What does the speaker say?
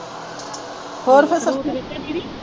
ਹੋਰ ਫੇਰ ਸਭ ਠੀਕ ਹੈ ਦੀਦੀ